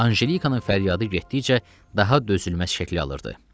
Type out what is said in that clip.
Anjelikanın fəryadı getdikcə daha dözülməz şəkil alırdı.